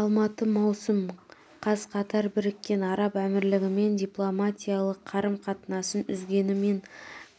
алматы маусым қаз қатар біріккен араб әмірлігімен дипломатиялық қарым-қатынасын үзгенімен